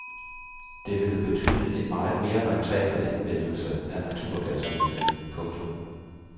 Det vil betyde en meget mere rentabel anvendelse af naturgasnettet. punktum